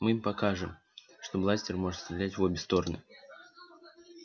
мы им покажем что бластер может стрелять в обе стороны